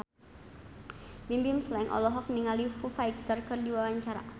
Bimbim Slank olohok ningali Foo Fighter keur diwawancara